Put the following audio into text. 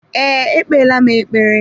Ee, ekpeela m ekpere.